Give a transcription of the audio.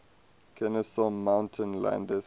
kenesaw mountain landis